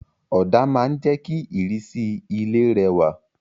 Òdà ma n je ki ìrísí ilé rẹwà